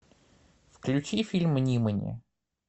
включи фильм нимани